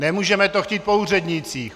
Nemůžeme to chtít po úřednících.